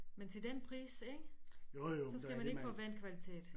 Men til den pris ikke så skal man ikke forvente kvalitet